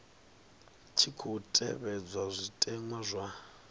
tshi khou tevhedzwa zwitenwa zwa